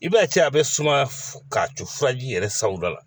I b'a ye cɛ a bɛ suma k'a to furaji yɛrɛ sagoda la